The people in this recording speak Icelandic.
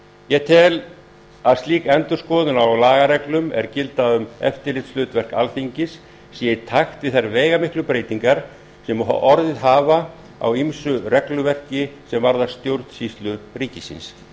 ég tel að slík endurskoðun á lagareglum er gilda um eftirlitshlutverk alþingis sé í takt við þær veigamiklu breytingar sem orðið hafa á ýmsu regluverki sem varðar stjórnsýslu ríkisins